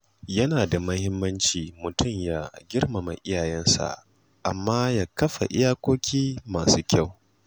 Yana da muhimmanci mutum ya girmama iyayensa, amma ya kafa iyakoki masu kyau.